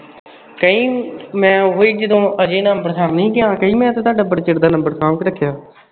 ਕਈ ਮੈਂ ਉਹੀ ਜਦੋ ਅਜੇ ਨਾਲ ਅੰਬਰਸਰ ਨੀ ਗਿਆ। ਕਹੀ ਮੈਂ ਤੁਹਾਡਾ ਬੜੇ ਚਿਰ ਦਾ ਤੁਹਾਡਾ ਸਾਂਭ ਕੇ ਰੱਖਿਆ।